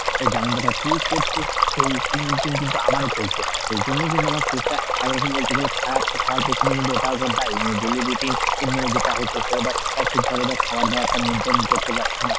যেমন টা ধর তুই করছিস সেই same routine কিন্তু আমারো চলছে এইজন্যেই কিন্তু আমার শরীর টা একরকম বলতে গেলে খারাপ হওয়ার পেছনে কিন্তু ওটাও ধর দায়ী মানে ডেইলি routine ই মানে যেটা হচ্ছে সেটা ধর ঠিক ভাবে ধর খাওয়ার দাওয়ার টা maintain করতে পারছি না,